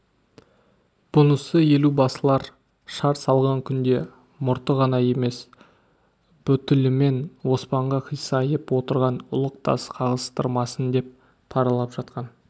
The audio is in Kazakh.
бұнысы елубасылар шар салған күнде мұрты ғана емес бүтілімен оспанға қисайып отырған ұлық тас қағыстырмасын деп паралап жатқан